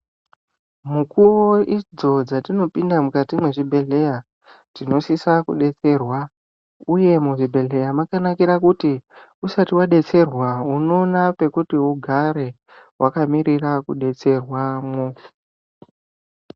Mukuwo idzo dzatinopinda mukati mwezvbhedhleya tinosisa kudetserwa uye muzvibheshleya mwakankire kuti usati wadetserwa uoona pekuti ugare wakamirari kudetserwa wo.